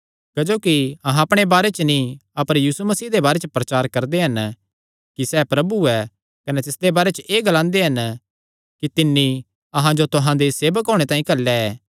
क्जोकि अहां अपणे बारे च नीं अपर यीशु मसीह दे बारे च प्रचार करदे हन कि सैह़ प्रभु ऐ कने तिसदे बारे च एह़ ग्लांदे हन कि तिन्नी अहां जो तुहां दे सेवक होणे तांई घल्लेया